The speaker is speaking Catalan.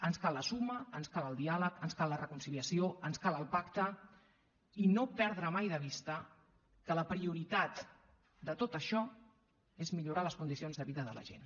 ens cal la suma ens cal el diàleg ens cal la reconciliació ens cal el pacte i no perdre mai de vista que la prioritat de tot això és millorar les condicions de vida de la gent